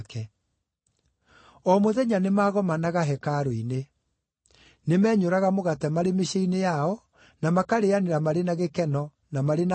O mũthenya nĩmagomanaga hekarũ-inĩ. Nĩmenyũraga mũgate marĩ mĩciĩ-inĩ yao, na makarĩĩanĩra marĩ na gĩkeno, na marĩ na ngoro theru,